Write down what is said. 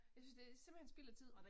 Jeg synes det er simpelthen spild af tid